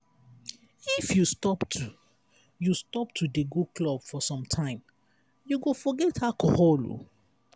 if you stop to you stop to dey go club for some time you go forget alcohol.